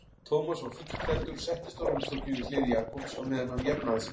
Thomas var fullklæddur og settist á rúmstokkinn við hlið Jakobs á meðan hann jafnaði sig.